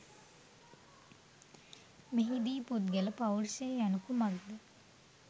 මෙහිදී පුද්ගල පෞරුෂය යනු කුමක්ද